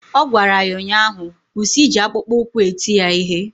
Ọ gwara ya ụnyaahụ "Kwụsị iji akpụkpọụkwụ eti ya ihe"!